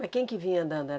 Mas quem que vinha andando?